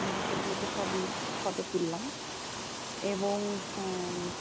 আমরা সেগুলোকে সবই photo তুললাম এবং হ্যা উম